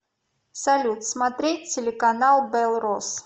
салют смотреть телеканал белрос